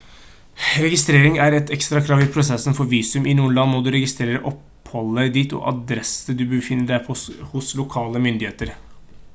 registrering er et ekstra krav i prosessen for visum i noen land må du registrere oppholdet ditt og adresse du befinner deg på hos lokale myndigheter